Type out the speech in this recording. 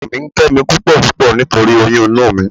Ọkọ mi ń kẹ́ mi púpọ̀púpọ̀ nítorí oyún inú mi